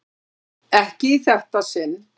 Ekki í þetta sinn.